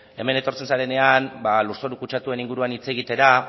hemen etortzen zarenean lurzoru kutsatuen inguruan hitz egitera